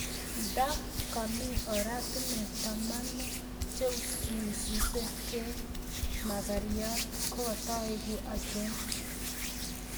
Nda gami oratinwek tamanu cheusus keek magaryat kogataegu achon